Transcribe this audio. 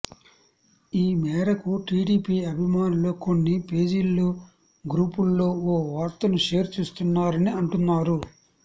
ఈ మేరకు టిడిపి అభిమానులు కొన్ని పేజీల్లో గ్రూపుల్లో ఓ వార్తను షేర్ చేస్తున్నారని అంటున్నారు